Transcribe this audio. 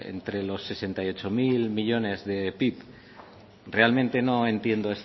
entre los sesenta y ocho mil millónes de pib realmente no entiendo